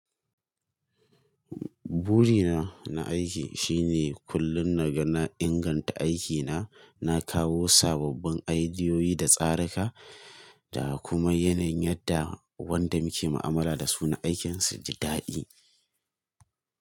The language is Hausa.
Burina na aiki shine kullum naga na inganta aikina, na kawo sababbin i idiyoyi da tsaruka, da kuma yanayin yadda wanda muke mu'amala da su na aikin su ji daɗi.